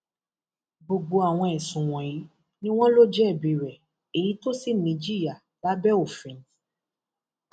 gbogbo àwọn ẹsùn wọnyí ni wọn lọ jẹbi rẹ èyí tó sì níjìyà lábẹ òfin